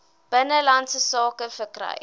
binnelandse sake verkry